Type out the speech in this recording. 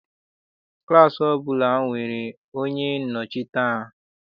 Klaasị ọbụla na-enwe onye nnọchite ha.